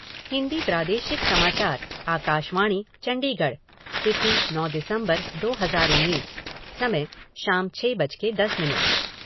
हिन्दी प्रादेशिक समाचार आकाशवाणी चंडीगढ तिथि नौ दिसम्बर दो हजार उन्नीस, समय शाम छः बज कर दस मिनट